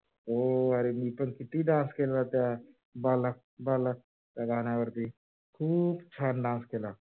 हो अरे मी ते किती dance केला त्या बाला बाला त्या गाण्यावरती खूप छान dance केला.